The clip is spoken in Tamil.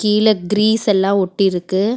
கீழ கிரீஸ் எல்லாம் ஊத்தி இருக்கு.